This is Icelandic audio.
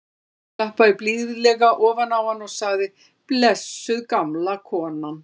Hann klappaði blíðlega ofan á hana og sagði: blessuð gamla konan.